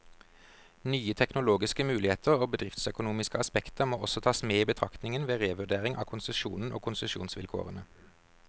Nye teknologiske muligheter og bedriftsøkonomiske aspekter må også tas med i betraktningen, ved revurdering av konsesjonen og konsesjonsvilkårene.